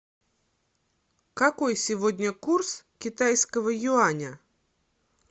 какой сегодня курс китайского юаня